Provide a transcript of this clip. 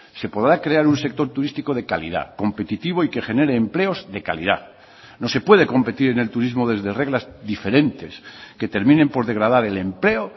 se podrá crear un sector turístico de calidad competitivo y que genere empleos de calidad no se puede competir en el turismo desde reglas diferentes que terminen por degradar el empleo